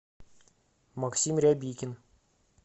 максим рябикин